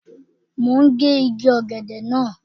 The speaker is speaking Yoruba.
Mo ń gé igi ọ̀gẹ̀dẹ̀ náà.